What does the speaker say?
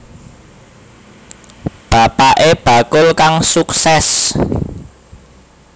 Bapaké bakul kang suksès